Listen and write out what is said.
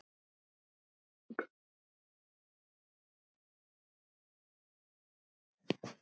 Og Rúna hreifst með.